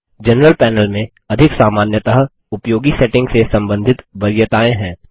general panel में अधिक सामान्यतः उपयोगी सेटिंग से संबंधित वरीयताएँ हैं